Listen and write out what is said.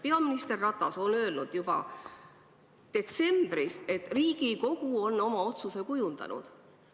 Peaminister Ratas ütles juba detsembris, et Riigikogu on oma otsuse kujundanud.